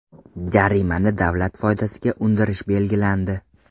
Jarimani davlat foydasiga undirish belgilandi.